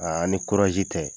A ni kurazi tɛ